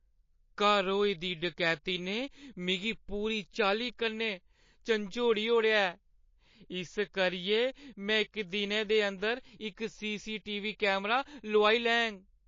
घर होई दी डकैती ने मिगी पूरी चाल्ली कन्नै झंजोड़ी ओड़ेआ ऐ इस करियै में इक दिनै दे अंदर इक सी.सी.टी.वी. कैमरा लोआई लैङ।